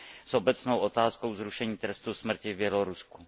i s obecnou otázkou zrušení trestu smrti v Bělorusku.